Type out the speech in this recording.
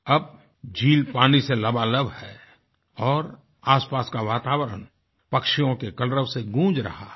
अब झील पानी से लबालब है और आसपास का वातावरण पक्षियों के कलरव से गूंज रहा है